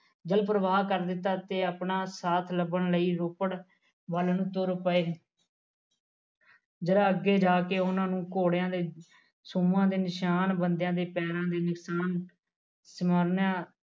ਦਿਲ ਪਰਵਾਹ ਕਰ ਦਿੱਤਾ ਤੇ ਆਪਣਾ ਸਾਥ ਲੱਭਣ ਲਈ ਰੋਪੜ ਵੱਲ ਨੂੰ ਤੁਰ ਪਏ ਜਰਾ ਅੱਗੇ ਜਾ ਕੇ ਉਹਨਾਂ ਨੂੰ ਘੋੜਿਆ ਦੇ ਸੁਰਾਂ ਦੇ ਨਿਸ਼ਾਨ ਬੰਦਿਆ ਦੇ ਪੈਰਾਂ ਦੇ ਨਿਸ਼ਾਨ